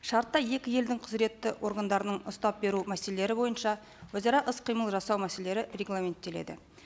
шартта екі елдің құзыретті органдарының ұстап беру мәселелері бойынша өзара іс қимыл жасау мәселелері регламенттеледі